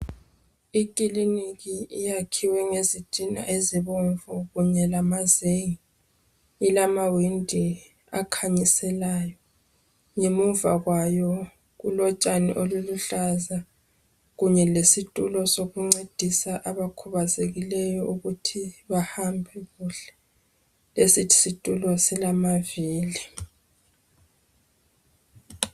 Ikiliniki iyakhiwe ngezitina ezibomvu kunye lamazenge .Ilamawindi akhanyiselayo .Ngemuva kwayo kulotshani obuluhlaza .Kunye lesitulo sokuncedisa abakhubazekileyo ukuthi bahambe kuhle .Lesisitulo silamavili .